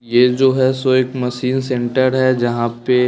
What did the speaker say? यह जो है सो एक मशीन सेंटर है जहां पे--